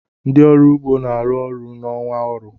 Ndị ọrụ ugbo na-arụ ọrụ n'ọnwa ọrụ.